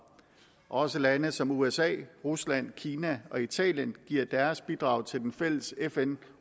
også lande som usa rusland kina og italien giver deres bidrag til den fælles fn